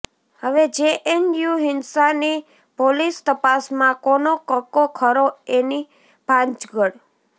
હવે જેએનયુ હિંસાની પોલીસતપાસમાં કોનો કક્કો ખરો એની ભાંજગડ